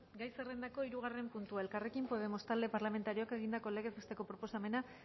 gai zerrendako hirugarren puntua elkarrekin podemos talde parlamentarioak egindako lege proposamena